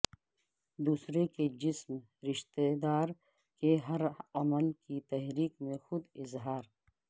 دوسرے کے جسم رشتہ دار کے ہر عمل کی تحریک میں خود اظہار